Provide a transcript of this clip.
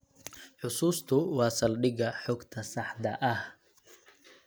Xusuustu waa saldhigga xogta saxda ah.